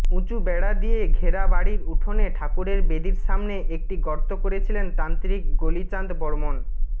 উঁচু বেড়া দিয়ে ঘেরা বাড়ির উঠোনে ঠাকুরের বেদীর সামনে একটি গর্ত করেছিলেন তান্ত্রিক গলিচাঁদ বর্মন